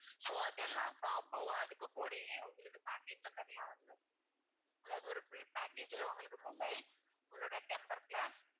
so அதெல்லாம் combo அதுக்கு கூடயே உங்களுக்கு package ல தனியா வந்துரும். அதாவது ஒரு full package ல உங்களுக்கு mobile உங்களோட temper glass